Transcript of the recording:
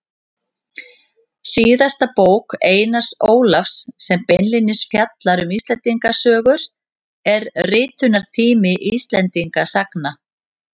Síðasta bók Einars Ólafs sem beinlínis fjallar um Íslendingasögur er Ritunartími Íslendingasagna.